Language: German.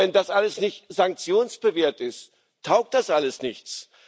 Aber wenn das alles nicht sanktionsbewehrt ist, taugt das alles nichts.